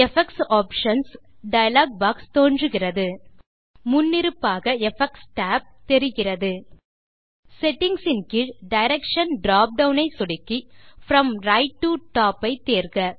effects options dialog box தோன்றுகிறது முன்னிருப்பாக effects tab தெரிகிறது செட்டிங்ஸ் இன் கீழ் டைரக்ஷன் drop டவுன் ஐ சொடுக்கி ப்ரோம் ரைட் டோ டாப் ஐ தேர்க